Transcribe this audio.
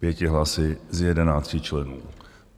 Pěti hlasy z jedenácti členů.